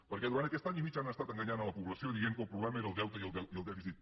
perquè durant aquest any i mig han estat enganyant la població dient que el problema era el deute i el dèficit